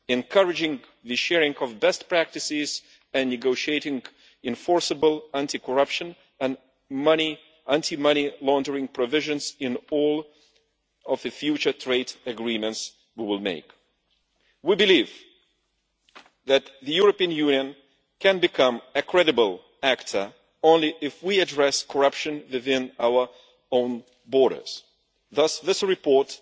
encouraging the sharing of best practices, and negotiating enforceable anti corruption and anti money laundering provisions in all future trade agreements that we make. We believe that the European Union can become a credible actor only if we address corruption within our own borders. Thus this report